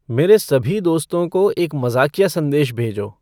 मेरे सभी दोस्तों को एक मज़ाकिया सन्देश भेजो